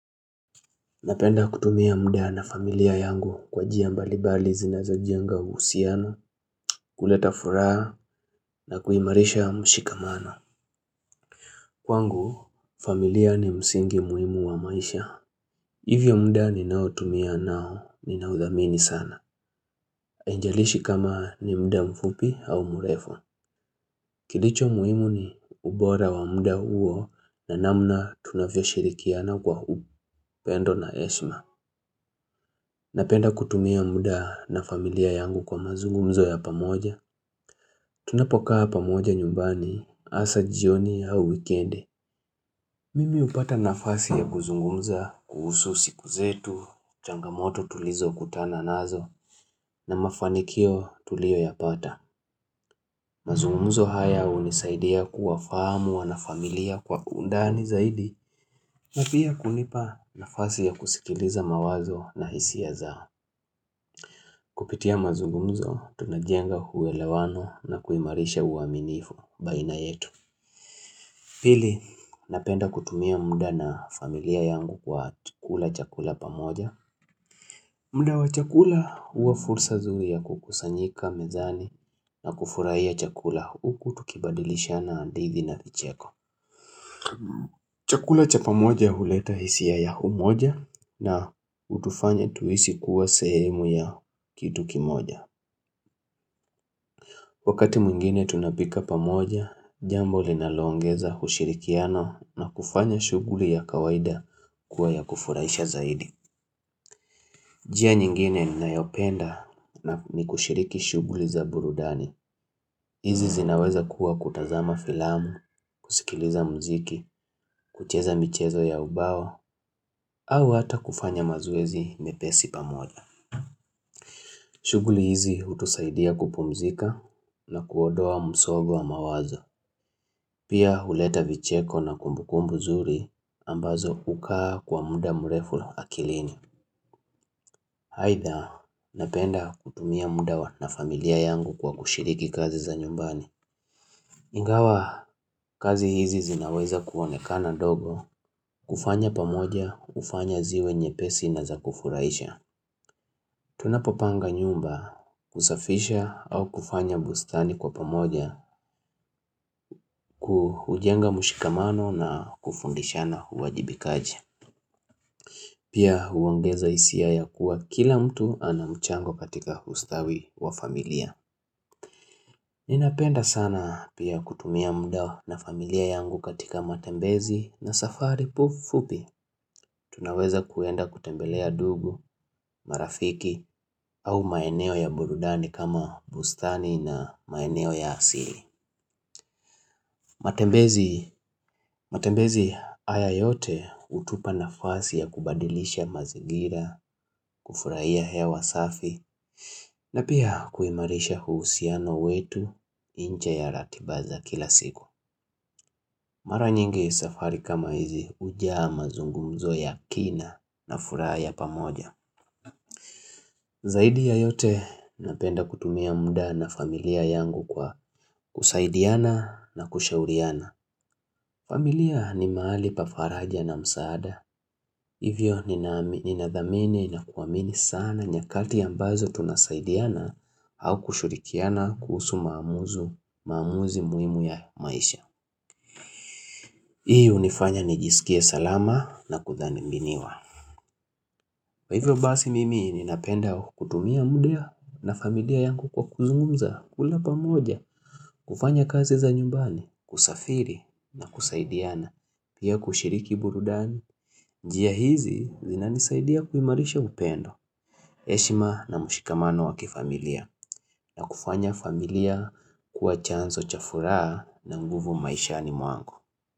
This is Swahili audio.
Napenda kutumia muda na familia yangu kwa jia mbalibali zinazo jenga uusiano, kuleta furaa na kuimarisha mshikamano. Kwangu, familia ni msingi muimu wa maisha. Hivyo mda ni nao tumia nao ni naudhamini sana. Ainjalishi kama ni mda mfupi au murefo. Kilicho muimu ni ubora wa mda uo na namna tunavyo shirikiana kwa hupendo na eshma. Napenda kutumia mda na familia yangu kwa mazungumzo ya pamoja. Tunapokaa pamoja nyumbani asajioni au wikende. Mimi upata nafasi ya guzungumza kuhusu siku zetu, changamoto tulizo kutana nazo na mafanikio tulio ya pata. Mazungumzo haya unisaidia kuwa fahamu wa na familia kwa undani zaidi na pia kunipa nafasi ya kusikiliza mawazo na hisia zao. Kupitia mazungumzo, tunajenga huwelewano na kuimarisha uaminifu baina yetu. Pili, napenda kutumia mda na familia yangu kwa chukula chakula pamoja. Mda wa chakula uwa fursa zuri ya kukusanyika, mezani na kufurahia chakula uku tukibadilisha na andithi na kicheko. Chakula cha pamoja uleta hisia ya humoja na utufanya tuisi kuwa sehemu ya kitu kimoja. Wakati mwingine tunapika pamoja, jambo linaloongeza ushirikiano na kufanya shuguli ya kawaida kuwa ya kufuraisha zaidi. Jia nyingine ni nayopenda na ni kushiriki shugli za burudani. Hizi zinaweza kuwa kutazama filamu, kusikiliza mziki, kucheza michezo ya ubawa, au hata kufanya mazoezi mepesi pamoja. Shugli hizi utusaidia kupumzika na kuodoa msogo wa mawazo. Pia huleta vicheko na kumbukumbu zuri ambazo ukaa kwa muda mrefu akilini. Haitha napenda kutumia mudawa na familia yangu kwa kushiriki kazi za nyumbani. Ingawa kazi hizi zinaweza kuonekana dogo kufanya pamoja ufanya ziwe nyepesi na zakufuraisha. Tunapopanga nyumba kusafisha au kufanya bustani kwa pamoja kuhujenga mushikamano na kufundishana huwajibi kaji. Pia huongeza isiaya kuwa kila mtu anamchango katika ustawi wa familia. Ninapenda sana pia kutumia mda na familia yangu katika matembezi na safari pu fupi. Tunaweza kuenda kutembelea dugu, marafiki au maeneo ya burudani kama bustani na maeneo ya asili. Matembezi haya yote utupa na fasi ya kubadilisha mazigira, kufurahia hewa safi na pia kuimarisha huusiano wetu inje ya ratiba za kila siku. Mara nyingi safari kama hizi ujaa mazungumzo ya kina na furaa ya pamoja. Zaidi ya yote napenda kutumia mda na familia yangu kwa kusaidiana na kushauriana. Familia ni maali pafaraja na msaada. Hivyo ninadhamini na kuwamini sana nyakati ya mbazo tunasaidiana hau kushurikiana kuusu maamuzi muimu ya maisha. Hii unifanya nijisikie salama na kudhani mbiniwa. Kwaivyo basi mimi ninapenda kutumia muda na familia yangu kwa kuzungumza kula pamoja, kufanya kazi za nyumbani, kusafiri na kusaidiana, pia kushiriki burudani. Njia hizi zinanisaidia kuimarisha upendo. Eshima na mushikamano wakifamilia na kufanya familia kuwa chanzo chafura na nguvu maishani mwangu.